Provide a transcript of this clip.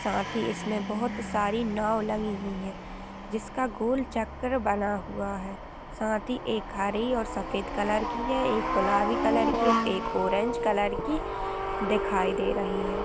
साथ ही इसमे बहोत सारी लगी हुई है | जिसका गोल चक्कर बना हुआ है साथ ही एक हरी और सफेद कलर की है एक गुलाबी कलर की है एक ऑरेंज कलर की दिखाई दे रही है ।